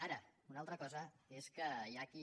ara una altra cosa és que hi ha qui